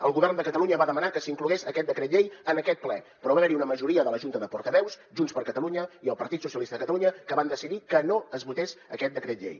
el govern de catalunya va demanar que s’inclogués aquest decret llei en aquest ple però va haver hi una majoria de la junta de portaveus junts per catalunya i el partit socialista de catalunya que van decidir que no es votés aquest decret llei